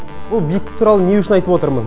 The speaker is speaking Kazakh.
бұл биіктік туралы не үшін айтып отырмын